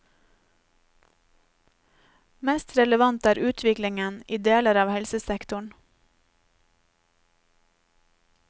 Mest relevant er utviklingen i deler av helsesektoren.